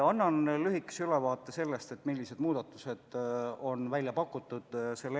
Annan lühikese ülevaate sellest, millised muudatused selle eelnõuga on välja pakutud.